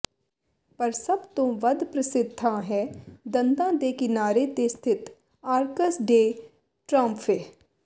ਪਰ ਸਭ ਤੋਂ ਵੱਧ ਪ੍ਰਸਿੱਧ ਥਾਂ ਹੈ ਦੰਦਾਂ ਦੇ ਕਿਨਾਰੇ ਤੇ ਸਥਿਤ ਆਰਕਸ ਡੇ ਟ੍ਰਾਓਮਫੇਹ